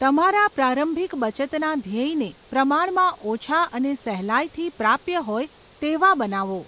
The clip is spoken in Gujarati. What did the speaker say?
તમારા પ્રારંભિક બચતના ધ્યેયને પ્રમાણમાં ઓછા અને સહેલાઈથી પ્રાપ્ય હોય તેવા બનાવો.